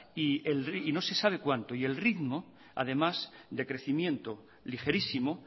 y no se sabe cuánto y el ritmo además de crecimiento ligerísimo